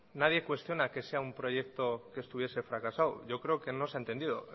nadie cuestiona que sea un proyecto que estuviese fracasado yo creo que no se ha entendido